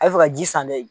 A bɛ fɛ ka ji san dɛ